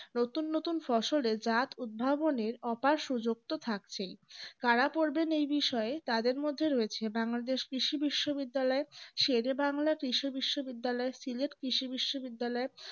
নতুন নতুন ফসলের জাত উৎপাদনের অফার সুযোগ তো থাকছে কারা পড়বেন এই বিষয়ে তাদের মধ্যে রয়েছে বাংলাদেশের কৃষি বিশ্ববিদ্যালয় শেরেবাংলা কৃষি বিশ্ববিদ্যালয় সিলেট কৃষি বিশ্ববিদ্যালয়